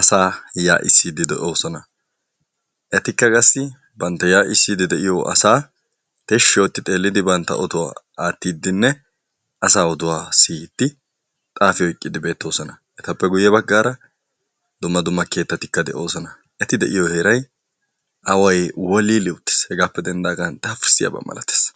asaa yaa'isiidi de'oosona. eetikka qaasi bantta ya'isiidi de'iyoo asaa tiishi ootti xeelidi bantta oduwaa aatiidinne asaa oduwaa siiyiddi xaafi oyqqiidi beetosona. eetappe guuye baggaara dumma dumma keettatikka de'oosona. eeti de'iyoo heeray away woolili uuttiis. hegaappe dendaagan daafursiyaaba milaatees.